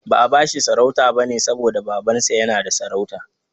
Ba'a bashi sarauta bane saboda Babansa yana da sarauta.